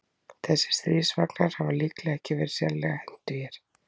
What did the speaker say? Þessir stríðsvagnar hafa líklega ekki verið sérlega hentugir.